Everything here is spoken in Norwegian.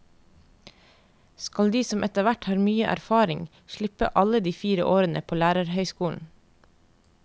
Skal de som etterhvert har mye erfaring slippe alle de fire årene på lærerhøyskolen?